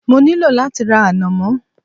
Mo ní lò láti ra ànàmọ́